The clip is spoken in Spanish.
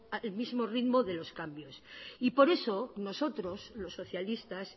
al mismo ritmo de los cambios y por eso nosotros los socialistas